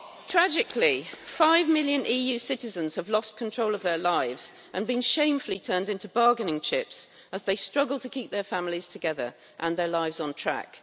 Tragically, five million EU citizens have lost control of their lives and been shamefully turned into bargaining chips, as they struggle to keep their families together and their lives on track.